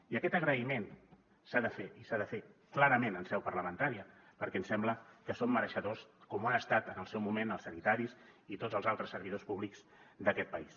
i aquest agraïment s’ha de fer i s’ha de fer clarament en seu parlamentària perquè ens sembla que en són mereixedors com ho han estat en el seu moment els sanitaris i tots els altres servidors públics d’aquest país